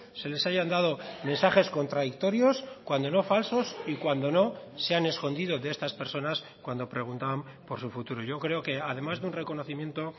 se les hayan dado mensajes contradictorios cuando no falsos y cuando no se han escondido de estas personas cuando preguntaban por su futuro yo creo que además de un reconocimiento